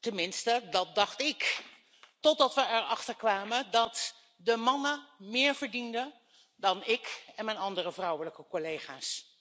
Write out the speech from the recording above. Tenminste, dat dacht ik, totdat we erachter kwamen dat de mannen meer verdienden dan ik en mijn andere vrouwelijke collega's.